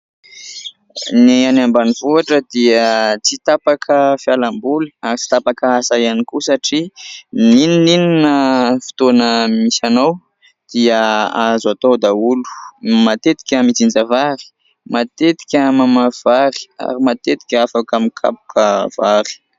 Ny any ambanivohitra dia tsy tapaka fialamboly ary tsy tapaka asa ihany koa satria na inona na inona fotoana misy anao dia azo atao daholo. Matetika mijinja vary, matetika mamafy vary ary matetika afaka mikapoka vary.